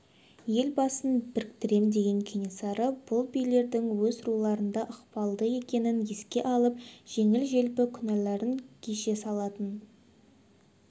ел басын біріктірем деген кенесары бұл билердің өз руларында ықпалды екенін еске алып жеңіл-желпі күнәләрін кеше салатын